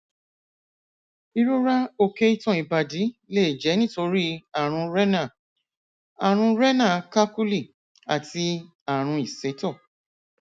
ìrora òkè itan ìbàdí lè jẹ nítorí ààrùn renal ààrùn renal calculi àti ààrùn ìsétọ